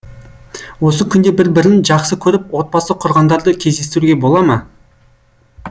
осы күнде бір бірін жақсы көріп отбасы құрғандарды кездестіруге бол ма